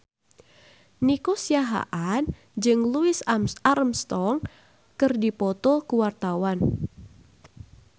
Nico Siahaan jeung Louis Armstrong keur dipoto ku wartawan